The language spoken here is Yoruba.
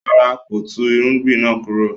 No, he did not uproot the crop